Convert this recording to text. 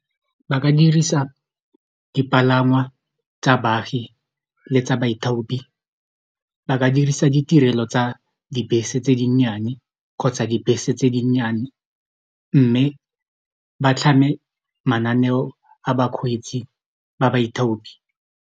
Ba ka dirisa dipalangwa tsa baagi le tsa baithaopi ba ka dirisa ditirelo tsa dibese tse dinnyane kgotsa dibese tse dinnyane mme ba tlhame mananeo a bakgweetsi ba baithaopi.